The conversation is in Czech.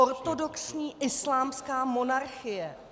Ortodoxní islámská monarchie!